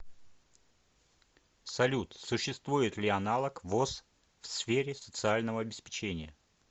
салют существует ли аналог воз в сфере социального обеспечения